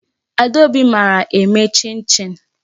Adaobi mara eme chin chin.